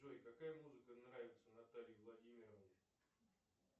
джой какая музыка нравится наталье владимировне